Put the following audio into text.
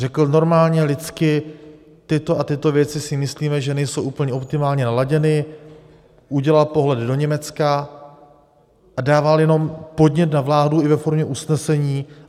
Řekl normálně lidsky, tyto a tyto věci si myslíme, že nejsou úplně optimálně naladěny, udělal pohledy do Německa a dával jenom podnět na vládu i ve formě usnesení.